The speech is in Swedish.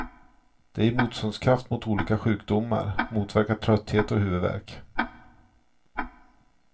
Det ger motståndskraft mot olika sjukdomar, motverkar trötthet och huvudvärk.